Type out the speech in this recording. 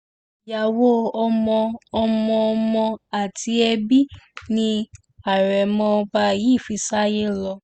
ìyàwó ọmọ ọmọọmọ àti ẹbí ni àrẹ̀mọ ọba yìí fi sáyé lọ